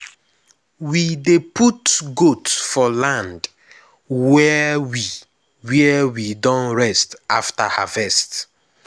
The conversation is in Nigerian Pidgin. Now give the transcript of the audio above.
we dey put goat for land were we were we don rest after harvest